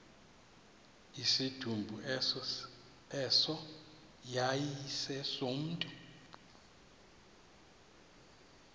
isidumbu eso yayisesomntu